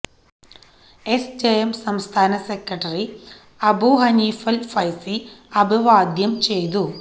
S J M സംസ്ഥാന secretary Abu Haneefal Faizy അഭിവാദ്യം ചെയ്തു